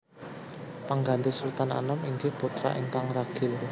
Pengganti Sultan Anom inggih putra ingkang ragil